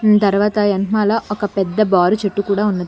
ఉమ్ తరువాత వెనకమాల ఒక పెద్ద బారు చెట్టు కూడా ఉన్నది.